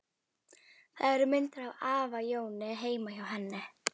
Það eru myndir af afa Jóni heima hjá henni.